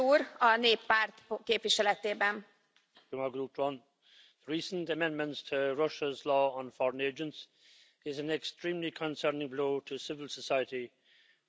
Madam President, recent amendments to Russia's law on foreign agents is an extremely concerning blow to civil society and freedom of the press in Russia.